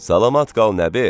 Salamat qal Nəbi!